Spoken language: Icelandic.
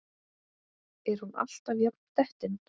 Er hún alltaf jafn dettin?